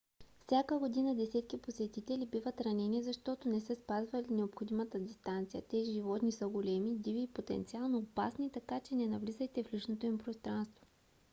всяка година десетки посетители биват ранени защото не са спазвали необходимата дистанция. тези животни са големи диви и потенциално опасни така че не навлизайте в личното им пространство